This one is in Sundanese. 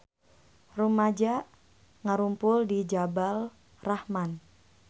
Rumaja ngarumpul di Jabal Rahmah